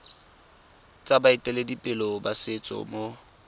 tsa baeteledipele ba setso mo